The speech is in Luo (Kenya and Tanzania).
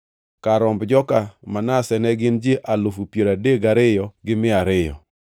Kar romb joka Manase ne gin ji alufu piero adek gariyo gi mia ariyo (32,200).